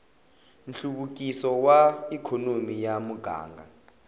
nhluvukiso wa ikhonomi ya muganga